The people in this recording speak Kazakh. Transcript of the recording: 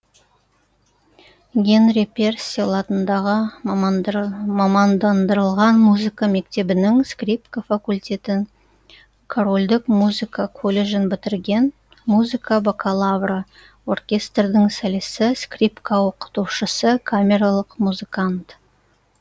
генри перселл атындағы мамандандырылған музыка мектебінің скрипка факультетін корольдік музыка колледжін бітірген музыка бакалавры оркестрдің солисі скрипка оқытушысы камералық музыкант